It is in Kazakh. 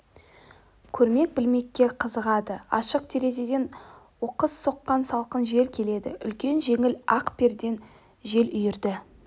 көрмек білмекке қызығады ашық терезеден оқыс соққан салқын жел келді үлкен жеңіл ақ перден жел үйрді